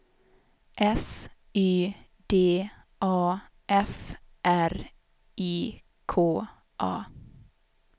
S Y D A F R I K A